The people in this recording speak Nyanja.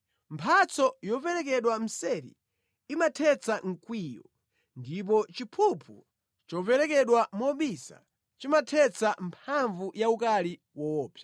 Mphatso yoperekedwa mseri imathetsa mkwiyo, ndipo chiphuphu choperekedwa mobisa chimathetsa mphamvu ya ukali woopsa.